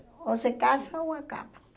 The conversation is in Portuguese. Ou se casa ou acaba.